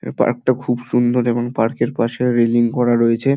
এ park টা খুব সুন্দর এবংপার্ক - এর পাশে রেলিং করা রয়েছে।